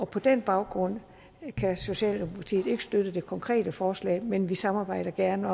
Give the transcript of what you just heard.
på den baggrund kan socialdemokratiet ikke støtte det konkrete forslag men vi samarbejder gerne